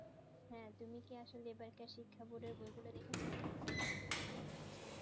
হেঁ তুমি কি আসলে শিক্ষা উপরে একেবারে শিখার board এর বই গুলু দেখেছো